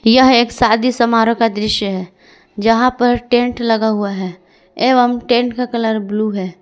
यह एक शादी समारोह का दृश्य है जहां पर टेंट लगा हुआ है एवं टेंट का कलर ब्लू है।